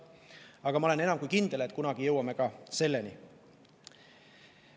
Aga ma olen enam kui kindel, et kunagi jõuame ka selleni.